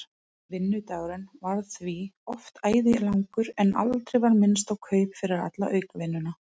Vinnudagurinn varð því oft æði langur en aldrei var minnst á kaup fyrir alla aukavinnuna.